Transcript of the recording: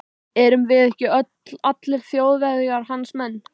Erum við ekki öll, allir Þjóðverjar, hans menn.